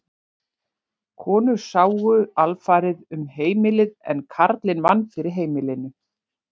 Konur sáu alfarið um heimilið en karlinn vann fyrir heimilinu.